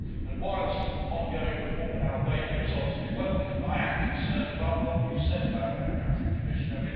And whilst ongoing reform in Albania is obviously welcome, I am concerned about what you said about that country, Commissioner.